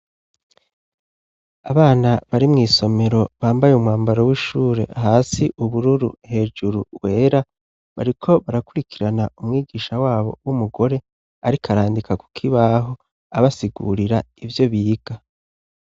abana bari mw' isomero bambaye umwambaro w'ishure hasi ubururu hejuru wera bariko barakurikirana umwigisha wabo w'umugore ariko arandika kukibaho abasigurira ivyo biga